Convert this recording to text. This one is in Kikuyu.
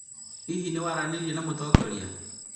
hihi nĩwaranĩirie na mũtongoria?